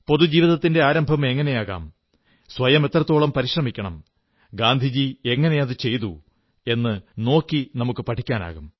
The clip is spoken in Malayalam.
പൊതുജീവിതത്തിന്റെ ആരംഭം എങ്ങനെയാകാം സ്വയം എത്രത്തോളം പരിശ്രമിക്കണം ഗാന്ധിജി എങ്ങനെ അതു ചെയ്തു എന്നു നോക്കി നമുക്കു പഠിക്കാം